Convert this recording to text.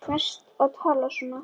Þér ferst að tala svona!